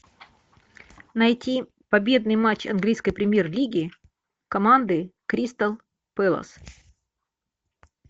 найти победный матч английской премьер лиги команды кристал пэлас